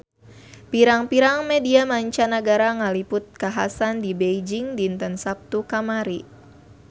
Pirang-pirang media mancanagara ngaliput kakhasan di Beijing dinten Saptu kamari